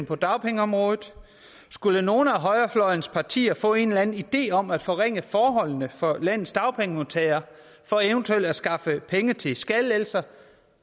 på dagpengeområdet skulle nogen af højrefløjens partier få en eller anden idé om at forringe forholdene for landets dagpengemodtagere for eventuelt at skaffe penge til skattelettelser